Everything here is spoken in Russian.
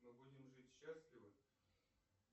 мы будем жить счастливо